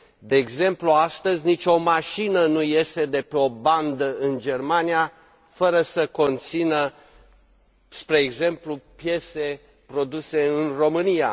De exemplu, astăzi nicio mașină nu iese de pe o bandă în Germania fără să conțină, spre exemplu, piese produse în România.